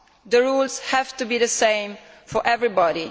The rules have to be the same for everybody.